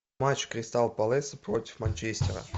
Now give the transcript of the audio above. матч кристал пэласа против манчестера